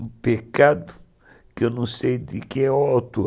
Um pecado, que eu não sei quem é o autor.